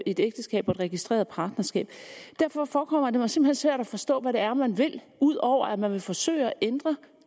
et ægteskab og et registreret partnerskab derfor forekommer det mig simpelt hen svært at forstå hvad det er man vil ud over at man vil forsøge at ændre